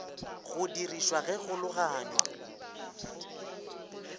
go dirišwa ge go logaganywa